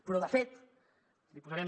però de fet li posarem